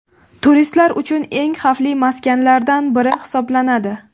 Turistlar uchun eng xavfli maskanlardan biri hisoblanadi.